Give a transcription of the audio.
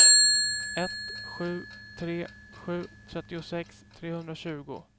ett sju tre sju trettiosex trehundratjugo